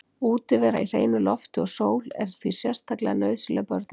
Útivera í hreinu lofti og sól er því sérstaklega nauðsynleg börnum.